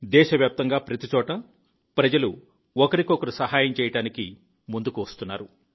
దేశవ్యాప్తంగా ప్రతిచోటా ప్రజలు ఒకరికొకరు సహాయం చేయడానికి ముందుకు వచ్చారు